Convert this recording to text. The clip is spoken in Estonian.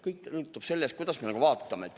Kõik sõltub sellest, kuidas me vaatame.